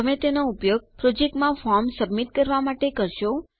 તમે તેનો ઉપયોગ પ્રોજેક્ટમાં ફોર્મ જમા કરવા માટે કરશો